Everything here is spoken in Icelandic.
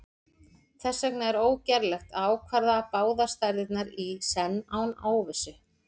þess vegna er ógerlegt að ákvarða báðar stærðirnar í senn án óvissu